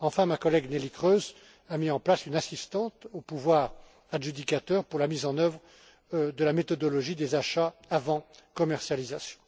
Enfin, ma collègue, Mme Neelie Kroes, a mis en place une assistance aux pouvoirs adjudicateurs pour la mise en œuvre de la méthodologie des achats avant commercialisation.